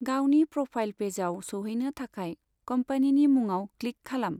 गावनि प्र'फाइल पेजआव सौहैनो थाखाय कम्पनिनि मुङाव क्लिक खालाम।